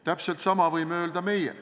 Täpselt sama võime öelda meie.